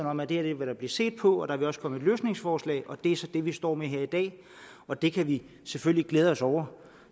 om at det her vil der blive set på og at der også vil komme et løsningsforslag det er så det vi står med her i dag og det kan vi selvfølgelig glæde os over